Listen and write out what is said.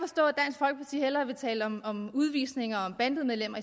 i hellere vil tale om om udvisninger og om bandemedlemmer